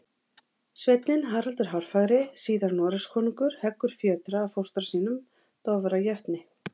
Sveinninn Haraldur hárfagri, síðar Noregskonungur, heggur fjötra af fóstra sínum, Dofra jötni.